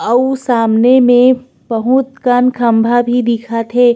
अउ सामने में बहुत कन खम्भा भी दिखत हे।